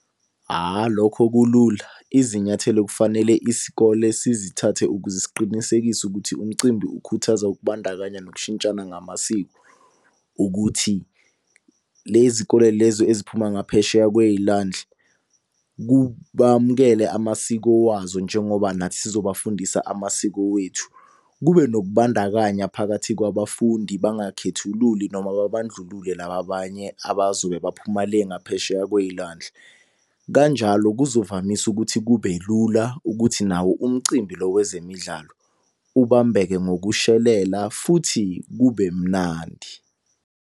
Lokho kulula, izinyathelo kufanele isikole sizithathe ukuze siqinisekise ukuthi umcimbi ukhuthaza ukubandakanya nokushintshana ngamasiko. Ukuthi le zikole lezo eziphuma ngaphesheya kwey'lwandle bamukele amasiko wazo njengoba nathi sizobafundisa amasiko wethu. Kube nokubandakanya phakathi kwabafundi bangakhethululi noma babandlulule laba abanye abazobe baphuma le ngaphesheya kwey'lwandle. Kanjalo kuzovamisa ukuthi kube lula, ukuthi nawo umcimbi lo wezemidlalo ubambeke ngokushelela futhi kube mnandi.